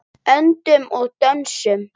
Öndum og dönsum.